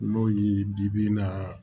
N'o yi di bi naaa